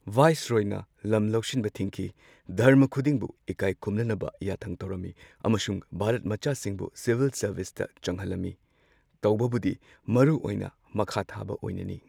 ꯚꯥꯏꯁꯔꯣꯏꯅ ꯂꯝ ꯂꯧꯁꯤꯟꯕ ꯊꯤꯡꯈꯤ, ꯙꯔꯃ ꯈꯨꯗꯤꯡꯕꯨ ꯏꯀꯥꯏ ꯈꯨꯝꯅꯅꯕ ꯌꯥꯊꯪ ꯇꯧꯔꯝꯃꯤ꯫ ꯑꯃꯁꯨꯡ ꯚꯥꯔꯠ ꯃꯆꯥꯁꯤꯡꯕꯨ ꯁꯤꯚꯤꯜ ꯁꯔꯚꯤꯁꯇ ꯆꯪꯍꯜꯂꯝꯃꯤ꯫ ꯇꯧꯕꯕꯨꯗꯤ ꯃꯔꯨ ꯑꯣꯏꯅ ꯃꯈꯥꯊꯥꯕ ꯑꯣꯏꯅꯅꯤ꯫